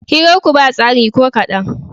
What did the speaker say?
Hirarku ba tsari ko kaɗan.